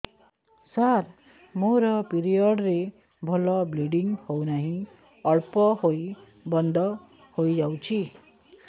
ସାର ମୋର ପିରିଅଡ଼ ରେ ଭଲରେ ବ୍ଲିଡ଼ିଙ୍ଗ ହଉନାହିଁ ଅଳ୍ପ ହୋଇ ବନ୍ଦ ହୋଇଯାଉଛି